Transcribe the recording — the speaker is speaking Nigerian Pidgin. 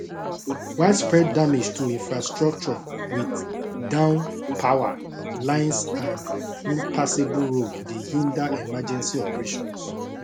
widespread damage to infrastructure wit down power lines and impassable road dey hinder emergency operations